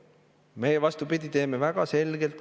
Meie, vastupidi, väga selgelt.